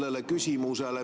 Öelda, et keegi peksab segast …